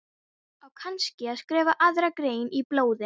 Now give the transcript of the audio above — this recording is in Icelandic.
Það vantar allt eðlilegt samhengi í hausinn á þér.